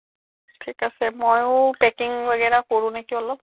ঠিক আছে মইয়ো packing কৰো নেকি অলপ